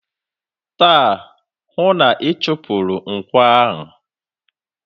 Taa, hụụ na-ịchụpụrụ nkwọ a!